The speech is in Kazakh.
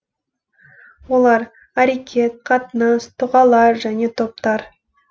олар әрекет қатынас тұғалар және топтар